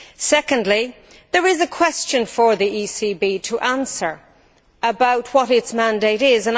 Secondly, there is a question for the ECB to answer about what its mandate is.